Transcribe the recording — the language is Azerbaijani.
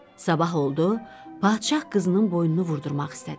Sabah oldu, padşah qızının boynunu vurdurmaq istədi.